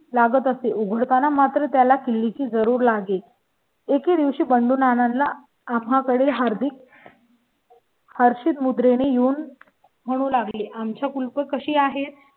लागत असे. उघडताना मात्र त्याला किल्ली ची जरूर लागेल. एके दिवशी बनवून आणला आम्हाकडे हार्दिक. हर्षित मुद्रण मी येऊन म्हणू लागली. आमच्या कुलपं कशी आहेत